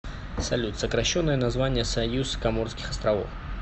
салют сокращенное название союз коморских островов